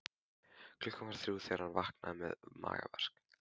Klukkan var þrjú þegar hann vaknaði með magaverk.